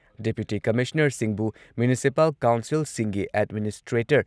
deputy ꯀꯃꯤꯁꯅꯔꯁꯤꯡꯕꯨ ꯃ꯭ꯌꯨꯅꯤꯁꯤꯄꯥꯜ ꯀꯥꯎꯟꯁꯤꯜꯁꯤꯡꯒꯤ ꯑꯦꯗꯃꯤꯅꯤꯁꯇ꯭ꯔꯦꯇꯔ